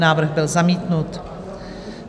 Návrh byl zamítnut.